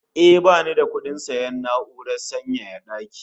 Eh, bani da kudin sayan na'urar sanyaya daki